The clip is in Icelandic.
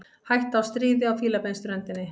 Hætta á stríði á Fílabeinsströndinni